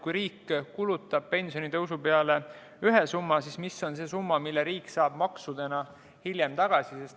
Kui riik kulutab pensionitõusu peale ühe summa, siis mis on see summa, mille riik saab maksudena hiljem tagasi?